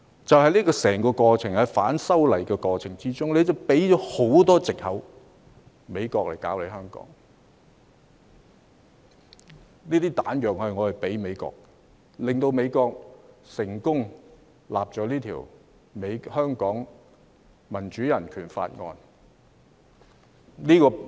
在整個反修例的過程中，政府提供了很多藉口讓美國干預香港，這些"彈藥"是我們提供給美國的，令美國得以成功制定《香港人權與民主法案》。